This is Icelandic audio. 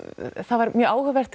var mjög áhugavert